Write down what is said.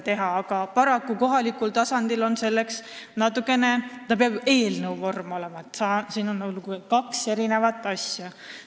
Paraku peab see eelnõu vormis olema ja kohalikul tasandil on seda natukene keerukas saavutada.